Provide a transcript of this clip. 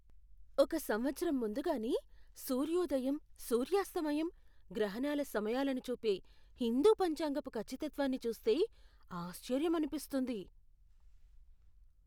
ఒక సంవత్సరం ముందుగానే సూర్యోదయం, సూర్యాస్తమయం, గ్రహణాల సమయాలను చూపే హిందూ పంచాంగపు ఖచ్చితత్వాన్ని చూస్తే ఆశ్చర్యమనిపిస్తుంది.